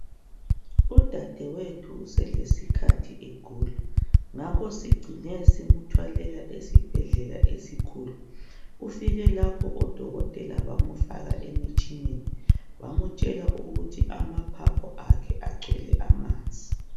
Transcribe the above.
Udadewethu selesikhathi egula. Ngakho sicine simthwalela esibhedlela esikhulu. Ufike lapho oDokotela bamfaka emtshineni bamtshela ukuthi amaphaphu akhe agcwele amanzi.